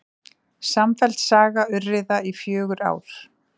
Samfelld saga urriða í fjögur ár